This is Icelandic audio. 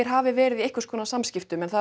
hafi verið í einhverskonar samskiptum en það